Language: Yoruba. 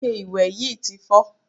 Ike ìwẹ̀ yí ti fọ́.